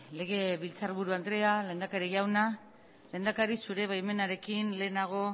legebiltzarburu andrea lehendakari jauna lehendakari zure baimenarekin lehenago